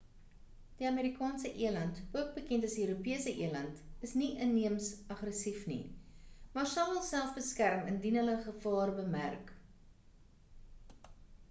die amerikaanse eland ook bekend as die europese eland is nie inheems aggressief nie maar sal hulself beskerm indien hulle ‘n gevaar bemerk